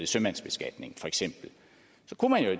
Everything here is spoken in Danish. sømandsbeskatning